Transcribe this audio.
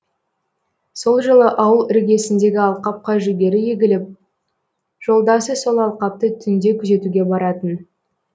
сол жылы ауыл іргесіндегі алқапқа жүгері егіліп жолдасы сол алқапты түнде күзетуге баратын